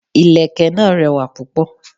Ìlẹ̀kẹ̀ náà rẹwà púpọ̀.